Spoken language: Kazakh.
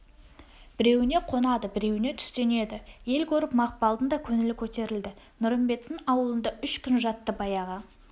біреуіне қонады біреуіне түстенеді ел көріп мақпалдың да көңілі көтерілді нұрымбеттің ауылында үш күн жатты баяғы